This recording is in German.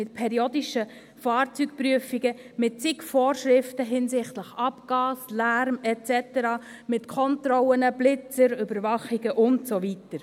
Mit periodischen Fahrzeugprüfungen, mit zig Vorschriften zu Abgas, Lärm et cetera, mit Kontrollen, Blitzern, Überwachungen und so weiter.